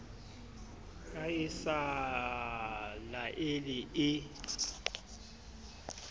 ha e sa laele e